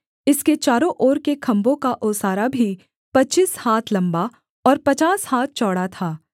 इसके चारों ओर के खम्भों का ओसारा भी पच्चीस हाथ लम्बा और पचास हाथ चौड़ा था